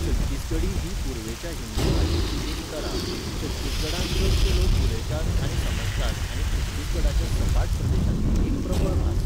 छत्तीसगढी ही पूर्वेच्या हिंदी भाशेची एक तरा, छत्तीसगडांत चडशे लोक उलयतात आनी समजतात आनी छत्तीसगढाच्या सपाट प्रदेशांतली एक प्रबळ भास.